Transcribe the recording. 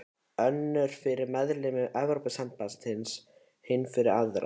Önnur fyrir meðlimi Evrópusambandsins, hin fyrir aðra.